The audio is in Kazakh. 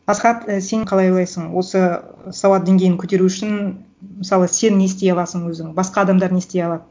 асхат сен қалай ойлайсың осы сауат деңгейін көтеру үшін мысалы сен не істей аласың өзің басқа адамдар не істей алады